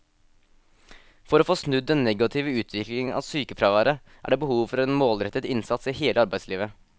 For å få snudd den negative utviklingen av sykefraværet er det behov for en målrettet innsats i hele arbeidslivet.